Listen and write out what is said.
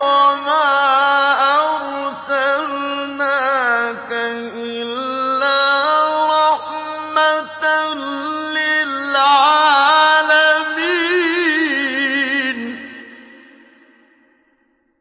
وَمَا أَرْسَلْنَاكَ إِلَّا رَحْمَةً لِّلْعَالَمِينَ